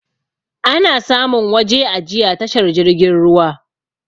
Ana samun waje ajiya tashar jirgin ruwa